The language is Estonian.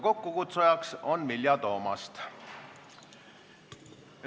Kokkukutsujaks on Vilja Toomast.